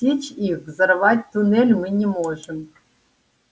отсечь их взорвать туннель мы не можем